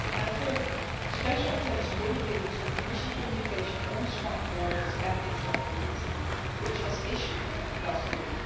Thirdly, special attention will be given to the Commission communication on smart borders and interoperability which was issued last week.